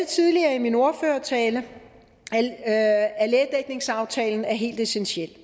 tidligere i min ordførertale at lægedækningsaftalen er helt essentiel